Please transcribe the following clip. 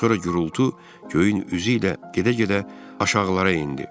Sonra gurultu göyün üzü ilə gedə-gedə aşağılara endi.